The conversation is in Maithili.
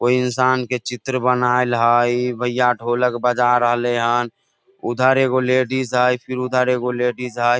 कोई इंसान के चित्र बनाइल हय भइया ढोलक बजा रहले हन उधर एगो लेडीज हय फिर उधर एक गो लेडीज हय।